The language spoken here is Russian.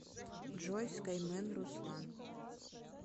джой скаймен руслан